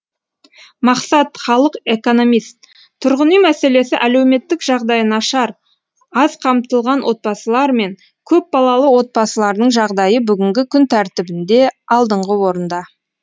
мақсат халық экономист тұрғын үй мәселесі әлеуметтік жағдайы нашар аз қамтылған отбасылар мен көпбалалы отбасылардың жағдайы бүгінгі күн тәртібінде алдыңғы орында